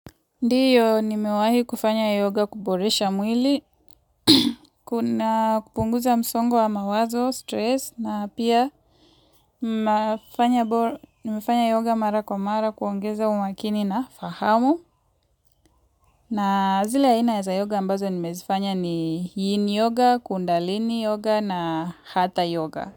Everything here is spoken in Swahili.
Ndiyo nimewahi kufanya yoga kuboresha mwili, kuna kupunguza msongwa mawazo, stress, na pia nimefanya yoga mara kwa mara kuongeza umakini na fahamu. Na zile aina ya za yoga ambazo nimezifanya ni yin yoga, kundalini yoga na hata yoga.